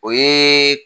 O ye